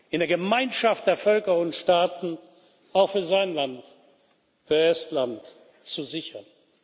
in der Gemeinschaft der Völker und Staaten auch für sein Land, für Estland, zu sichern.